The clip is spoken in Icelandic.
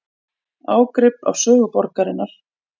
Ágrip af sögu borgarinnar